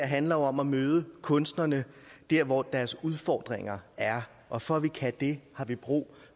handler om at møde kunstnerne der hvor deres udfordringer er og for at vi kan det har vi brug